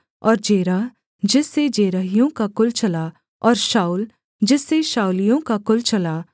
और जेरह जिससे जेरहियों का कुल चला और शाऊल जिससे शाऊलियों का कुल चला